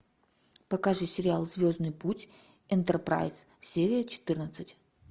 покажи сериал звездный путь энтерпрайз серия четырнадцать